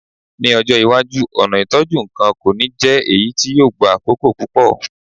Ní ọjọ́ iwájú, ọ̀nà ìtọ́jú nǹkan kò ní jẹ́ èyí tó ń gba àkókò púpọ̀.